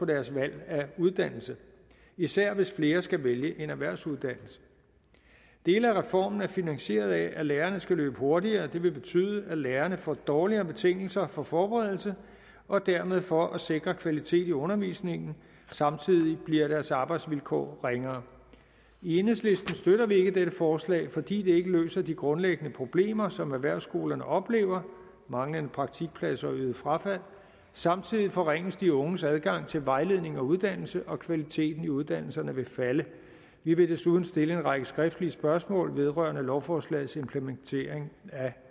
deres valg af uddannelse især hvis flere skal vælge en erhvervsuddannelse dele af reformen er finansieret af at lærerne skal løbe hurtigere det vil betyde at lærerne får dårligere betingelser for forberedelse og dermed for at sikre kvalitet i undervisningen samtidig bliver deres arbejdsvilkår ringere i enhedslisten støtter vi ikke dette forslag fordi det ikke løser de grundlæggende problemer som erhvervsskolerne oplever manglende praktikpladser og øget frafald samtidig forringes de unges adgang til vejledning og uddannelse og kvaliteten i uddannelserne vil falde vi vil desuden stille en række skriftlige spørgsmål vedrørende lovforslagets implementering